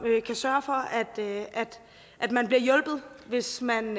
kan sørge for at man bliver hjulpet hvis man